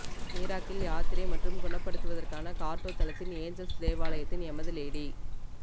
miracle யாத்திரை மற்றும் குணப்படுத்துவதற்கான கார்ட்டோ தளத்தின் ஏஞ்சல்ஸ் தேவாலயத்தின் எமது லேடி